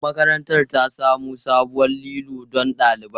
Makarantar ta samo sabuwar lilo don ɗaliban.